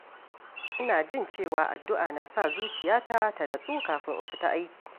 Ina jin cewa addu’a na sa zuciyata ta natsu kafin in fita aiki.